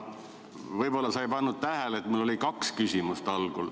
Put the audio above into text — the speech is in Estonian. Võib-olla sa ei pannud tähele, aga mul oli algul kaks küsimust.